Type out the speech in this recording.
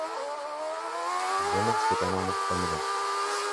елена степановна фомина